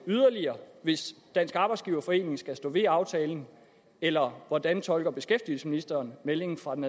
yderligere hvis dansk arbejdsgiverforening skal stå ved aftalen eller hvordan tolker beskæftigelsesministeren meldingen fra den